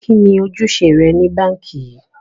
Kíni ọ̀jùṣẹ̀ rẹ̀ ni Bankí yìí?